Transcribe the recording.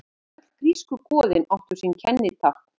Öll grísku goðin áttu sín kennitákn.